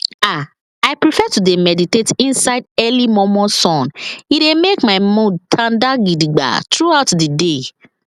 ah i prefer to dey meditate inside early momo sun e dey make my mood tanda gidigba throughout the day